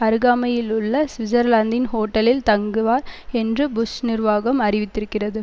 அருகாமையிலுள்ள சுவிட்சர்லாந்தின் ஹோட்டலில் தங்குவார் என்று புஷ் நிர்வாகம் அறிவித்திருக்கிறது